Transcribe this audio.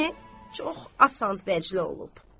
Yəni çox asan vəclə olub.